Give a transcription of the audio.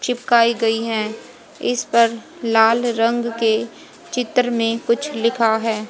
चिपकाई गई हैं इस पर लाल रंग के चित्र में कुछ लिखा है।